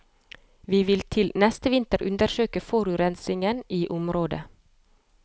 Vi vil til neste vinter undersøke forurensingen i området.